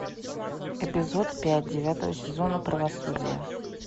эпизод пять девятого сезона правосудия